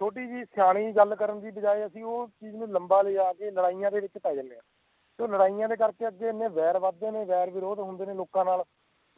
ਛੋਟੀ ਜੀ ਸਿਆਣੀ ਗੱਲ ਕਰਨ ਦੀ ਬਜਾਏ ਅਸੀਂ ਓਹ ਚੀਜ ਨੂੰ ਲੰਬਾ ਲੈ ਜਾਕੇ ਲੜਾਈਆਂ ਦੇ ਵਿੱਚ ਪੈ ਜਾਂਦੇ ਆ ਲੜਾਈਆਂ ਕਰਕੇ ਅੱਗੇ ਵੇਰ ਵਾਦ ਜਾਣੇ ਵੈਰ ਵਰੋਧ ਹੁੰਦੇ ਲੋਕਾਂ ਨਾਲ